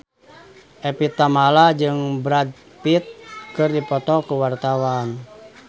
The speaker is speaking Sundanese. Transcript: Evie Tamala jeung Brad Pitt keur dipoto ku wartawan